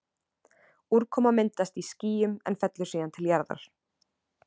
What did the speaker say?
Úrkoma myndast í skýjum en fellur síðan til jarðar.